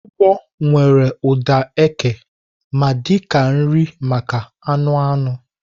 ugbo nwere ụda eke ma dị ka nri maka anụ anụ.